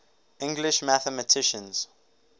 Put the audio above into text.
english mathematicians